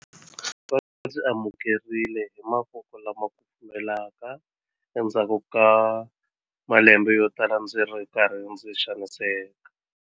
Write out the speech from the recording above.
Va ndzi amukerile hi mavoko lama kufumelaka endzhaku ka malembe yotala ndzi ri karhi ndzi xaniseka.